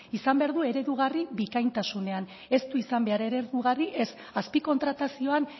izan behar du eredugarri bikaintasunean ez du izan behar eredugarri ez azpi kontratazioan